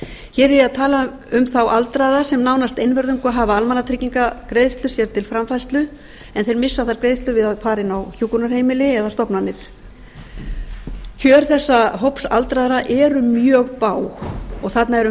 hér er ég að tala um þá aldraða sem nánast einvörðungu hafa almannatryggingagreiðslur sér til framfærslu en þeir missa þær greiðslur við að fara inn á hjúkrunarheimili eða stofnanir kjör þessa hóps aldraðra eru mjög bág þarna